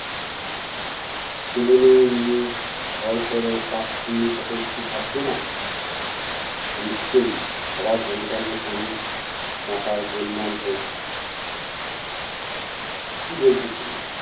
ছেলে মেয়ে নিয়ে ঘর করো পাপ পূণ্যের কথা একটু ভাববে না? নিশ্চয়ই, অভাব অনটনে পড়ে মাথায় গোলমাল হয়েছে। কী বলছো তুমি?